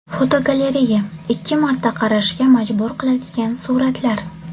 Fotogalereya: Ikki marta qarashga majbur qiladigan suratlar.